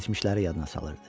Keçmişləri yadına salırdı.